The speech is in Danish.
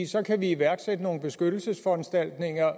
så kan vi iværksætte nogle beskyttelsesforanstaltninger